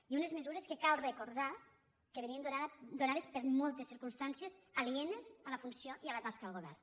i unes mesures que cal recordar que venien donades per moltes circumstàncies alienes a la funció i a la tasca del govern